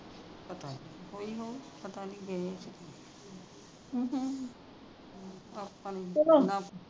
ਪਤਾ ਨਹੀਂ ਹੋਈ ਹੋਣੀ ਪਤਾ ਨਹੀਂ ਜੇਲ ਚ ਆਪਾਂ ਨੂੰ